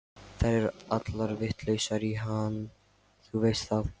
Þær eru allar vitlausar í hann, þú veist það.